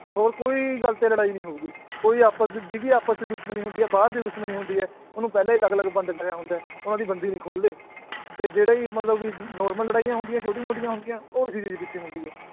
ਹੋਰ ਕੋਈ ਗੱਲ ਤੇ ਲੜਾਈ ਨੀ ਹੋਊਗੀ ਕੋਈ ਆਪਸ ਜਿਹਦੀ ਆਪਸ ਚ ਦੁਸ਼ਮਣੀ ਹੁੰਦੀ ਹੈ ਬਾਹਰ ਦੀ ਦੁਸ਼ਮਣੀ ਹੁੰਦੀ ਹੈ, ਉਹਨੂੰ ਪਹਿਲਾਂ ਹੀ ਅਲੱਗ ਅਲੱਗ ਬੰਦ ਕਰਿਆ ਹੁੰਦਾ ਹੈ ਉਹਨਾਂ ਦੀ ਬੰਦੀ ਨੀ ਖੋਲਦੇ, ਤੇ ਜਿਹੜੇ ਵੀ ਮਤਲਬ ਕਿ normal ਲੜਾਈਆਂ ਹੁੰਦੀਆਂ ਛੋਟੀ ਮੋਟੀਆਂ ਹੁੰਦੀਆਂ ਉਹ ਇਸੇ ਚੀਜ਼ ਪਿੱਛੇ ਹੁੰਦੀ ਹੈ